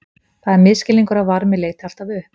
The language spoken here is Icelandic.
það er misskilningur að varmi leiti alltaf upp